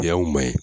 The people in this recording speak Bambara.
Y'anw man ye